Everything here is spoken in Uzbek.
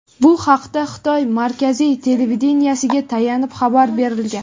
Bu haqda Xitoy markaziy televideniyesiga tayanib xabar berilgan.